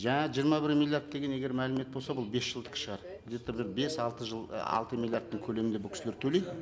жаңа жиырма бір миллиард деген егер мәлімет болса бұл бес жылдікі шығар где то бір бес алты жыл і алты миллиардтың көлемінде бұл кісілер төлейді